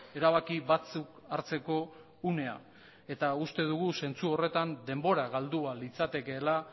erabaki batzuk hartzeko unea eta uste dugu zentzu horretan denbora galdua litzatekeela